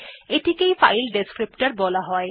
এটিকে file descriptor বলা হয়